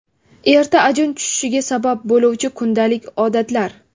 Erta ajin tushishiga sabab bo‘luvchi kundalik odatlar.